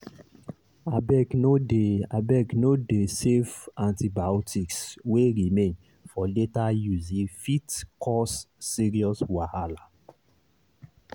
abegno dey abegno dey save antibiotics wey remain for later usee fit cause serious wahala.